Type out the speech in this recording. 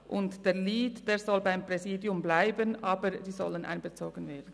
Der Lead soll beim Präsidium bleiben, aber sie sollen einbezogen werden.